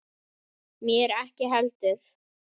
Mér ekki heldur.